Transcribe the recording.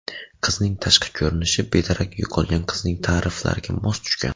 Qizning tashqi ko‘rinishi bedarak yo‘qolgan qizning ta’riflariga mos tushgan.